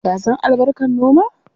Ka san albarkar noma?